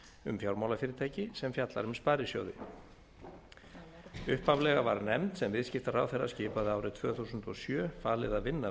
um fjármálafyrirtæki sem fjallar um sparisjóði upphaflega var nefnd sem viðskiptaráðherra skipaði árið tvö þúsund og sjö falið að vinna